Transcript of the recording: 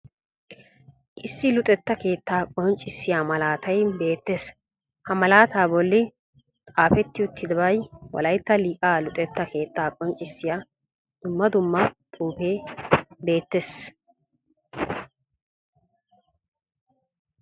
Issi luxetta keettaa qonccissiya malaatay beettees, ha malaata bolli xaafeti uttidabay wolaytta liqaa luxetta keettaa qonccissiya dumma dumma xuufee beettees.